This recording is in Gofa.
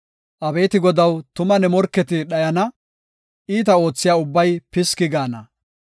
Abeeti Godaw, tuma ne morketi dhayana; iita oothiya ubbay piski gaana.